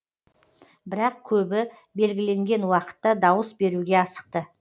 бірақ көбі белгіленген уақытта дауыс беруге асықты